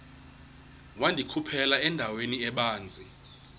wandikhuphela endaweni ebanzi